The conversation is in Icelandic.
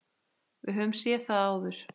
Við höfum séð það áður.